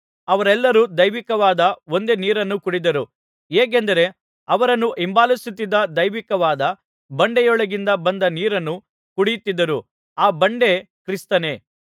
ಅವರೆಲ್ಲರೂ ದೈವಿಕವಾದ ಒಂದೇ ನೀರನ್ನು ಕುಡಿದರು ಹೇಗೆಂದರೆ ಅವರನ್ನು ಹಿಂಬಾಲಿಸುತ್ತಿದ್ದ ದೈವಿಕವಾದ ಬಂಡೆಯೊಳಗಿಂದ ಬಂದ ನೀರನ್ನು ಕುಡಿಯುತ್ತಿದ್ದರು ಆ ಬಂಡೆ ಕ್ರಿಸ್ತನೇ